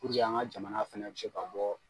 Puruke an ka jamana fana bɛ se ka bɔ